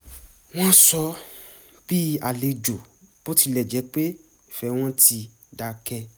wọ́n sọ bí àlejò bó tilẹ̀ jẹ́ pé ìfẹ́ wọn ti dákẹ̀